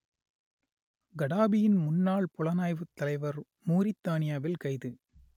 கடாபியின் முன்னாள் புலனாய்வுத் தலைவர் மூரித்தானியாவில் கைது